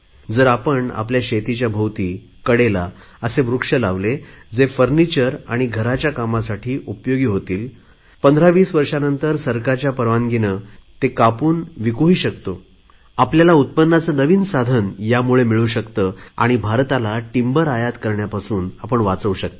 जर आपण आपल्या शेताभोवती कडेला असे वृक्ष लावले जे लाकडी सामान आणि घराच्या कामासाठी उपयोगी होतील पंधरावीस वर्षानंतर सरकारच्या परवानगीने त्याला कापून विकूही शकतो आपल्याला उत्पन्नाचे नवीन साधन यामुळे मिळू शकते आणि भारताला लाकूड आयात करण्यापासून आपण वाचवू शकता